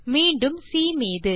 மீண்டும் சி மீது